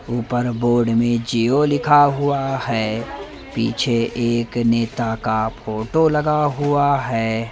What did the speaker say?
ऊपर बोर्ड में जिओ लिखा हुआ है पीछे एक नेता का फोटो लगा हुआ है।